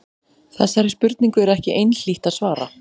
Þessari spurningu er ekki einhlítt að svara.